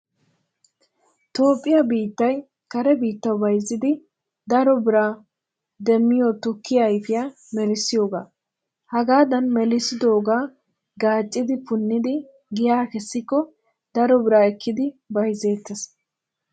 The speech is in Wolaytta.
Toophphiyaa biittay kare biittawu bayizzidi daro biraa demmiyootukkiyaa ayipiyaa melissiyoogaa. Hagadan melissidooga gaacciichchidi punnidi giyaa kessikko daro bira ekkidi bayzzeettees.